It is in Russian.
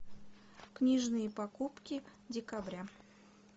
книжные покупки декабря